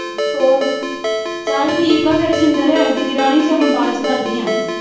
ਹੋਰ ਚੱਲ ਠੀਕ ਹੈ ਫਿਰ ਸਿੰਦਰ ਦੀਦੀ ਰਾਣੀ ਫਰ ਮੈਂ ਬਾਅਦ ਚ ਕਰਦੀ ਆਂ।